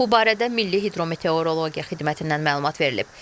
Bu barədə Milli Hidrometeorologiya Xidmətindən məlumat verilib.